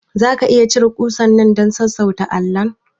Zaka iya cire kusar nan dan sassauta allon?